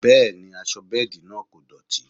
Bẹẹ ni, aṣọ bẹ́ẹ̀dì náà kò dọ̀tí